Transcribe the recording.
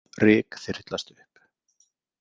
Ryk þyrlast upp.